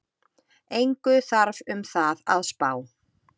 Engu þarf um það að spá,